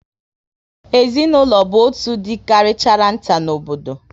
Ezinaụlọ bụ otú dị karịchara nta n'obodo